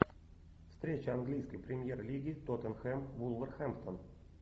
встреча английской премьер лиги тоттенхэм вулверхэмптон